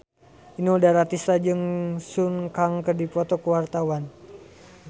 Inul Daratista jeung Sun Kang keur dipoto ku wartawan